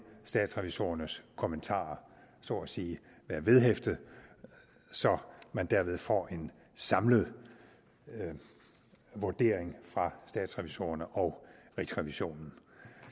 statsrevisorernes kommentarer så at sige være vedhæftede så man derved får en samlet vurdering fra statsrevisorerne og rigsrevisionen